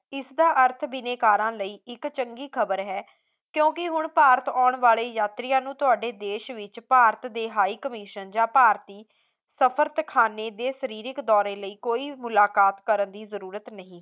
ਇਸਦਾ ਅਰਥ ਬਿਨੈਕਾਰਾਂ ਲਈ ਇੱਕ ਚੰਗੀ ਖਬਰ ਹੈ ਕਿਉਂਕਿ ਹੁਣ ਭਾਰਤ ਆਉਣ ਵਾਲੇ ਯਾਤਰੀਆਂ ਨੂੰ ਤੁਹਾਡੇ ਦੇਸ਼ ਵਿੱਚ ਭਾਰਤ ਦੇ high commission ਜਾਂ ਭਾਰਤੀ ਸਫਰਤਖਾਨੇ ਦੇ ਸ਼ਰੀਰਕ ਦੌਰੇ ਲਈ ਕੋਈ ਮੁਲਾਕਾਤ ਕਰਨ ਦੀ ਜਰੂਰਤ ਨਹੀਂ